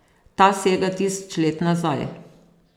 Ta sega tisoč let nazaj.